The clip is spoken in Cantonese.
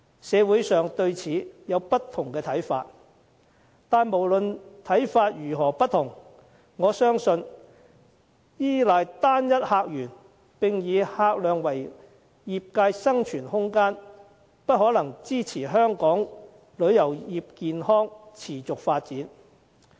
社會上對此有不同看法，但無論看法如何不同，我相信依賴單一客源並以客量為業界生存空間，不可能支持香港旅遊業健康地持續發展。